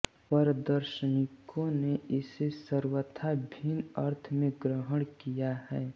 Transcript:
पर दार्शनिकों ने इसे सर्वथा भिन्न अर्थ में ग्रहण किया है